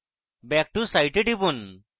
back to site এ টিপুন